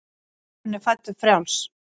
Maðurinn er fæddur frjáls.